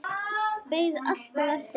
Beið alltaf eftir henni.